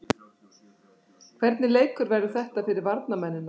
Hvernig leikur verður þetta fyrir varnarmennina?